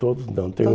Todos não. Tem um